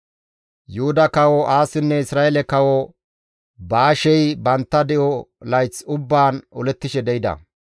Yuhuda Kawo Aasinne Isra7eele Kawo Baashey bantta de7o layth ubbaan olettishe de7ida.